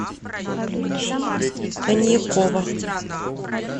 коньякова